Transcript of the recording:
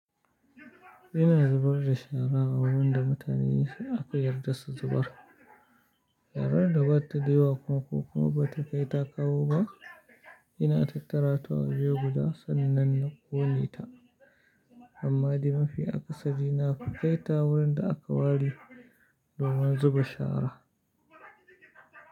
Ina zubar da shara a wurin da mutane aka yarda su zubar. Sharar da bata yawa ko kuma bata kai takaho ba, ina tattara ta waje guda sannan na kone ta amma de mafi akasari na ku kai ta wurin da aka ware domin zuba shara.